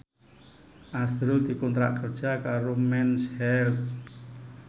azrul dikontrak kerja karo Mens Health